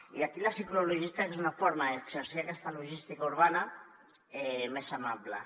i aquí la ciclologística és una forma d’exercir aquesta logística urbana més amable